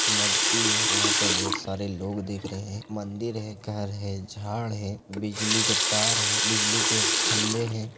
नदी है वहाँ पे ढेर सारे लोग दिख रहे हैं मंदिर है घर है झाड़ है बिजली के तार है बिजली के खम्बे हैं।